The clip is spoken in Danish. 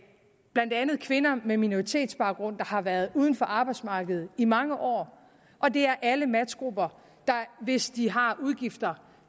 blandt andet kvinder med minoritetsbaggrund der har været uden for arbejdsmarkedet i mange år og det er alle matchgrupper der hvis de har udgifter